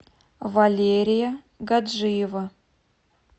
валерия гаджиева